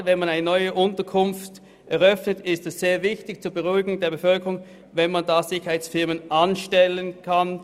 Gerade wenn man eine neue Unterkunft eröffnet, ist es zur Beruhigung der Bevölkerung sehr wichtig, dass man Sicherheitsfirmen anstellen kann.